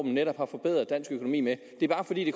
netop har forbedret dansk økonomi med det er bare fordi det